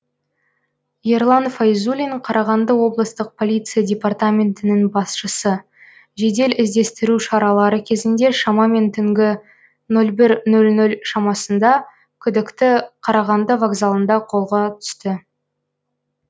ерлан файзуллин қарағанды облыстық полиция департаментінің басшысы жедел іздестіру шаралары кезінде шамамен түнгі нөл бір нөл нөл шамасында күдікті қарағанды вокзалында қолға түсті